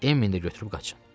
Emmini də götürüb qaçın.